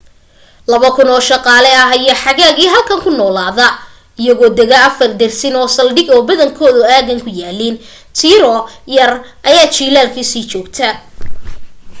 laba kun oo shaqaale ah ayaa xagaagii halkan ku noolaada iyagoo dega afar dersin oo saldhig oo badankoodu aaggan ku yaaliin tiro yar ayaa jilaalkii sii joogta